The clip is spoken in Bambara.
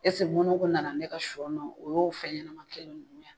Ɛseke mɔnɛw ko nana ne ka sɔn o y'o fɛn ɲɛna kɛ ninnu ye